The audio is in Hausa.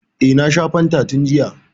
E, na sha fantan tun jiya.